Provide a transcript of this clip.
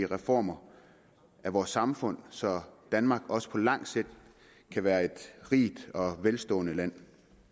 reformer af vores samfund så danmark også på lang sigt kan være et rigt og velstående land